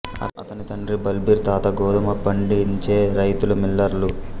అతని తండ్రి బల్బీర్ తాత గోధుమ పండించే రైతులు మిల్లర్లు